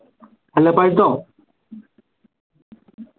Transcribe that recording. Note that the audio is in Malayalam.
അല്ല പഴുത്തോ